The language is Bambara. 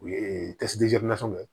U ye